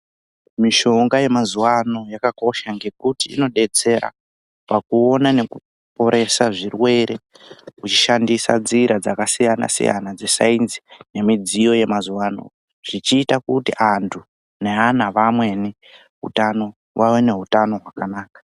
Mishonga yemazuva ano yakakosha ngekuti inodetsera pakuona nekuporesa zvirwere vechishandisa nzira dzakasiyana-siyana dzesainzi nemidziyo yemazuva ano. Zvichiita kuti antu neana vamweni ave neutano hwakanaka.